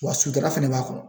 Wa sutura fɛnɛ b'a kɔnɔ